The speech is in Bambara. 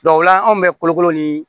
o la anw bɛ kolokolo ni